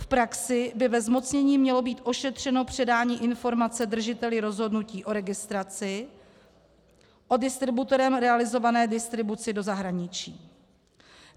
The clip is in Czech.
V praxi by ve zmocnění mělo být ošetřeno předání informace držiteli rozhodnutí o registraci o distributorem realizované distribuci do zahraničí.